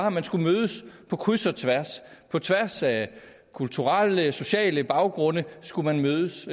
at man skulle mødes på kryds og tværs på tværs af kulturelle og sociale baggrunde skulle man mødes